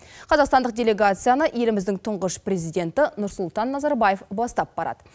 қазақстандық делегацияны еліміздің тұңғыш президенті нұрсұлтан назарбаев бастап барады